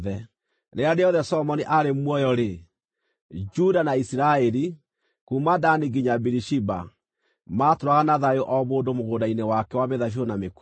Rĩrĩa rĩothe Solomoni aarĩ muoyo-rĩ, Juda na Isiraeli, kuuma Dani nginya Birishiba, maatũũraga na thayũ o mũndũ mũgũnda-inĩ wake wa mĩthabibũ na mĩkũyũ.